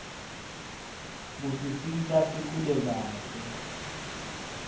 kusisita sikhule kahle